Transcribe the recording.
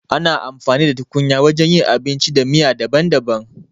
Ana amfani da tukunya wajen yin abinci da miya daban-daban.